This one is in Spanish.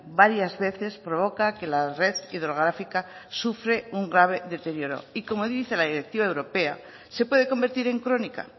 varias veces provoca que la red hidrográfica sufre un grave deterioro y como dice la directiva europea se puede convertir en crónica